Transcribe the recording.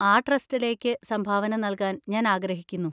ആ ട്രസ്റ്റിലേക്ക് സംഭാവന നൽകാൻ ഞാൻ ആഗ്രഹിക്കുന്നു.